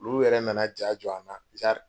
Olu yɛrɛ nana ja jɔ an na